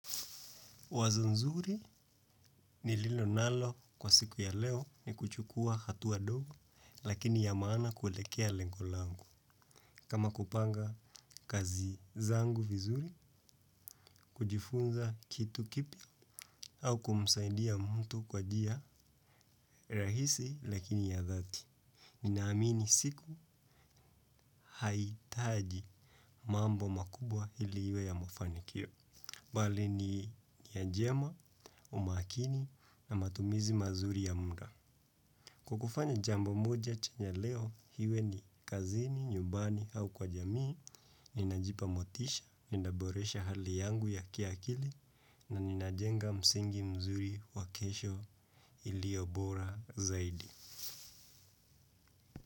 Wazo nzuri nililo nalo kwa siku ya leo ni kuchukua hatua ndogo lakini ya maana kuelekea lengo langu. Kama kupanga kazi zangu vizuri, kujifunza kitu kipya au kumsaidia mtu kwa njia rahisi lakini ya dhati. Ninaamini siku hahitaji mambo makubwa ili iwe ya mafanikio. Bali ni nia njema, umakini na matumizi mazuri ya muda. Kukufanya jambo moja chanya leo, iwe ni kazini, nyumbani au kwa jamii, ninajipa motisha, ninaboresha hali yangu ya kiakili na ninajenga msingi mzuri wa kesho iliyo bora zaidi.